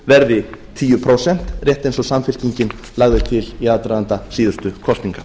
verði tíu prósent rétt eins og samfylkingin lagði til í aðdraganda síðustu kosninga